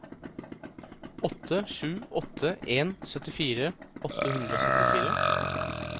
åtte sju åtte en syttifire åtte hundre og syttifire